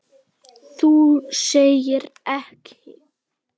Þú segir ekki.